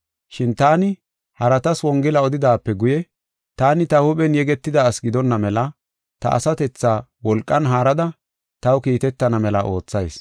Shin taani haratas wongela odidaape guye, taani ta huuphen yegetida asi gidonna mela ta asatethaa wolqan haarada taw kiitetana mela oothayis.